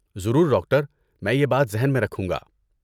ضرور، ڈاکٹر! میں یہ بات ذہن میں رکھوں گا۔